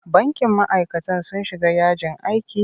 Bankin ma'aikatan sun shiga yajin aiki?